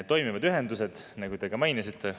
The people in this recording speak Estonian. Toimivad ühendused, nagu te ka mainisite.